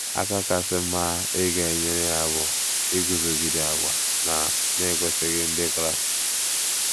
Aka kasị mma ị ga - enyere ya bụ iguzogide àgwà na na - ekwesịghị Ndị Kraịst.